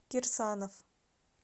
кирсанов